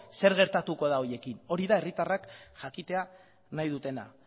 zer gertatuko da horiekin hori da herritarrak jakitea nahi dutena